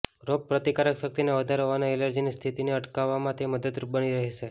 રોગ પ્રતિકારક શક્તિને વધારવા અને એલર્જીની સ્થિતિને અટકાવવામાં તે મદદરુપ બની રહેશે